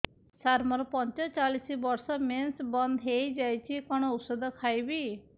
ସାର ମୋର ପଞ୍ଚଚାଳିଶି ବର୍ଷ ମେନ୍ସେସ ବନ୍ଦ ହେଇଯାଇଛି କଣ ଓଷଦ ଖାଇବି